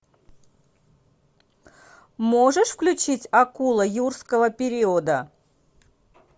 можешь включить акула юрского периода